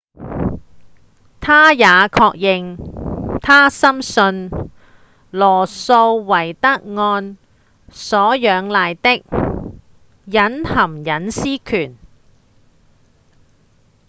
他也確認他深信羅訴韋德案所仰賴的隱含隱私權